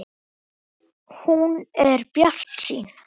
Hún er bjartsýn.